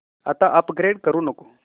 आता अपग्रेड करू नको